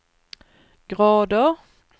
grader